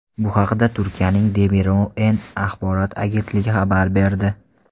Bu haqda Turkiyaning Demiro‘ren axborot agentligi xabar berdi .